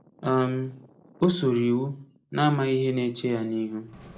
um O soro iwu, na-amaghị ihe na-eche ya n’ihu.